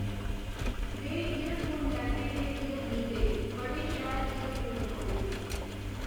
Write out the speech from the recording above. में एअरफोन लैते हे रियल मी दे बड़े शैल एअरफोन न ओ।